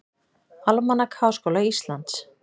Almanak Háskóla Íslands.